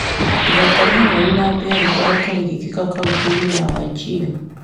Ithako rĩa nyau na mbĩa nĩ rĩkoretwo rĩgĩkĩka kauntĩ-inĩ ya Wajir.